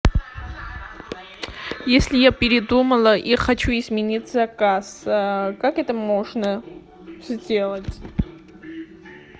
если я передумала и хочу изменить заказ как это можно сделать